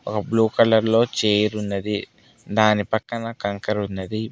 ఒక blue colour లో chair ఉన్నది దానిపక్కన కంకర ఉన్నది.